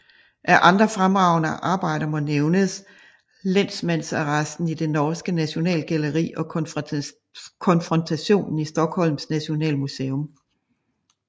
Af andre fremragende arbejder må nævnes Lensmandsarresten i det norske Nationalgalleri og Konfrontationen i Stockholms Nationalmuseum